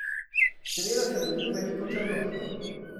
Seveda sem dobil veliko črno piko.